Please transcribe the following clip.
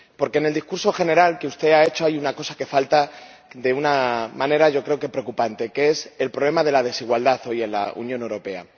Porque en el discurso general que usted ha hecho hay una cosa que falta de una manera, yo creo que preocupante, que es el problema de la desigualdad hoy en la Unión Europea.